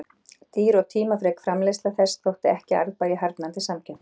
Dýr og tímafrek framleiðsla þess þótti ekki arðbær í harðnandi samkeppni.